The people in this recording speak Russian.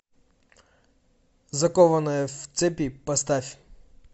закованная в цепи поставь